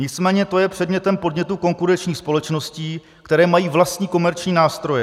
Nicméně to je předmětem podnětu konkurenčních společností, které mají vlastní komerční nástroje."